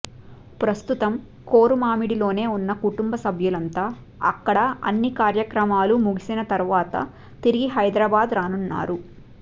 ప్రస్తుతం కోరుమామిడిలోనే ఉన్న కుటుంబ సభ్యులంతా అక్కడ అన్ని కార్యక్రమాలు ముగిసిన తర్వాత తిరిగి హైదరాబాద్ రానున్నారు